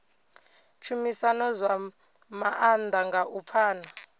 tshumisano zwa maanḓa nga u pfana